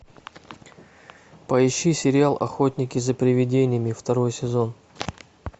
поищи сериал охотники за привидениями второй сезон